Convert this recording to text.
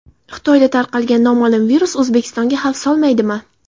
Xitoyda tarqalgan noma’lum virus O‘zbekistonga xavf solmaydimi?